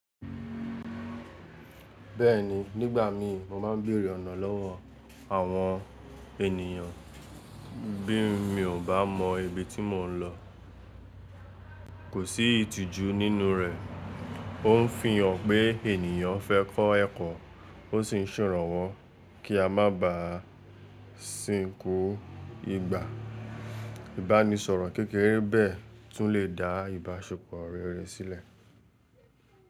Bẹ́ẹ̀ni, nígbà mí mo máa ń béèrè ọ̀nà lọ́wọ́ àwọn ènìyàn bí mi ò bá mọ ibi tí mò ń lọ. Kò sí ìtìjú nínú rẹ̀, ó ń fi hàn pé ènìyàn fẹ́ kọ́ ẹ̀kọ́ ó sì ń ṣọ̀rọ̀ wọ́ kí a má ba à sìnkú ìgbà. Ìbánisọ̀rọ̀ kékeré bẹ́ẹ̀ tún lè dá ìbáṣepọ̀ rere sílẹ̀.